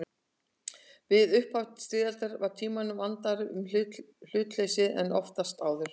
Við upphaf styrjaldar var Tímanum vandara um hlutleysið en oftast áður.